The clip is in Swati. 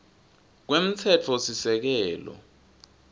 kwemtsetfosisekelo